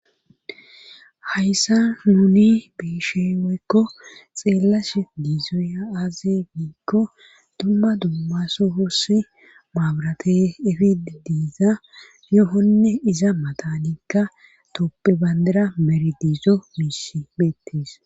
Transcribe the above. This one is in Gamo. Hayssa nuni biisheweekko xeellash diizoya aaze biikko dumma dumma so hoossi maabrate efid diiza yohonne iza matanikka toppe bandira meridiizo misimeettes.